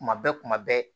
Kuma bɛɛ kuma bɛɛ